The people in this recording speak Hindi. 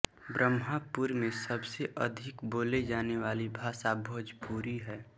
ब्रह्मपुर में सबसे अधिक बोली जाने वाली भाषा भोजपुरी है